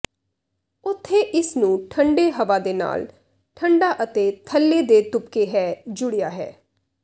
ਉੱਥੇ ਇਸ ਨੂੰ ਠੰਡੇ ਹਵਾ ਦੇ ਨਾਲ ਠੰਢਾ ਅਤੇ ਥੱਲੇ ਦੇ ਤੁਪਕੇ ਹੈ ਜੁੜਿਆ ਹੈ